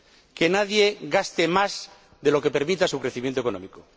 Que nadie gaste más de lo que permita su crecimiento económico.